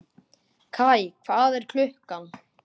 Kaj, hvað er klukkan?